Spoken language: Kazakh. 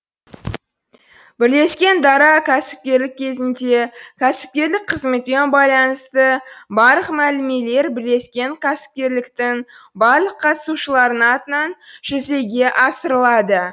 бірлескен дара кәсіпкерлік кезінде кәсіпкерлік қызметпен байланысты барлық мәмілелер бірлескен кәсіпкерліктің барлық қатысушыларының атынан жүзеге асырылады